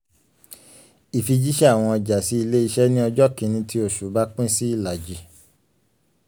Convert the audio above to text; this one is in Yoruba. ìfijíṣẹ́ àwọn ọjà sí ilé-iṣẹ́ ní ọjọ́ kini tí oṣù bá pín sí ìlàjì.